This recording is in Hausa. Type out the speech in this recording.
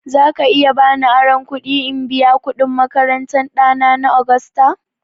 Za ka iya ba ni aron kuɗi in biya kuɗin makarantan ɗana na Agusta?